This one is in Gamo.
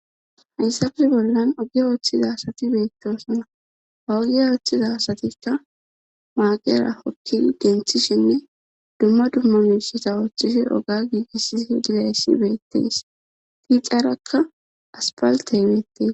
hayssafe bollan ogi ooththiza asati beetosna haugi ooththiza asatikka maaqera hokki genthishenne dumma dumma miseta oochchishe oga giigisisi dilassi beettes tiixaarakka aspalte imettees